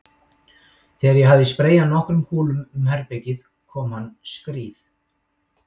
Þegar ég hafði spreyjað nokkrum kúlum um herbergið kom hann skríð